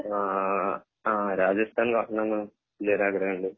ആഹ് ആഹ് രാജസ്ഥാൻ വലിയൊരു ആഗ്രഹം ഉണ്ട്